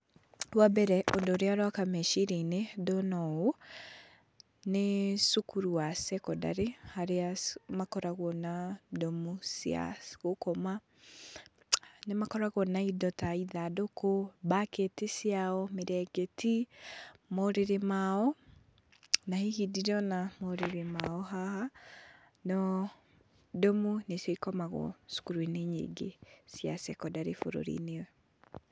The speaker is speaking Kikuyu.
Wa mbere, ũndũ ũrĩa ũroka meciria-inĩ ndona ũũ, nĩ cukuru wa secondary, harĩa makoragwo na ndomu cia gũkoma. Nĩ makoragwo na indo ta ithandũkũ, mbaketi ciao, mĩrengeti, morĩrĩ mao, na hihi ndirona morĩrĩ mao haha, no ndomu nicio ikomagwo cukuru-inĩ nyingĩ cia secondary bũrũri-inĩ.